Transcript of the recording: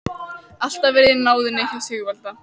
Alltaf verið í náðinni hjá Sigvalda.